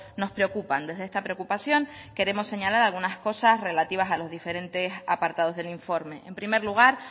nos preocupan desde esta preocupación queremos señalar algunas cosas relativas a los diferentes apartados del informe en primer lugar